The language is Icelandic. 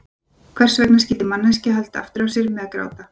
Hvers vegna skyldi manneskjan halda aftur af sér með að gráta?